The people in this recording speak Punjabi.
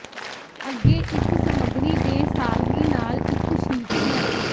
ਅੱਗੇ ਇਕ ਸਮਗਰੀ ਦੇ ਸਾਰਣੀ ਨਾਲ ਇਕ ਸ਼ੀਟ ਹੈ